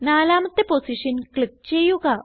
നാലാമത്തെ position click ചെയ്യുക